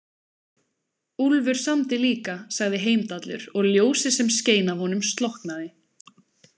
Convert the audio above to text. Úlfur samdi líka, sagði Heimdallur og ljósið sem skein af honum slokknaði.